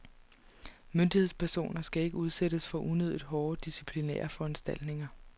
Myndighedspersoner skal ikke udsættes for unødigt hårde disciplinære foranstaltninger.